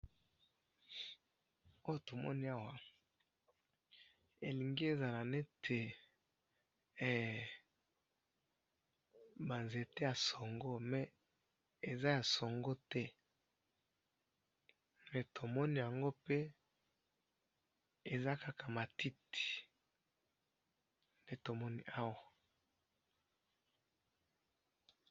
oyo tomoni awa elingi ezala neti he ba nzete ya songo mais eza ya songo te pe tomoni yango pe eza kaka matiti nde tomoni awa